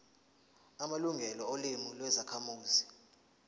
amalungelo olimi lwezakhamuzi